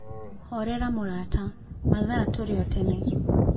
Horera mũrata, mathaa tũrio tene.